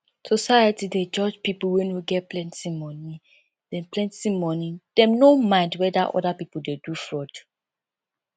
society dey judge pipo wey no get plenty money dem plenty money dem no mind weda oda pipo dey do fraud